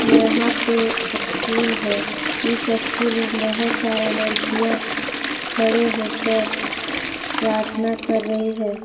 यहां पे अस्कुल है इस स्कूल में बहुत सारा लड़कियां खड़े होकर प्रार्थना कर रही है।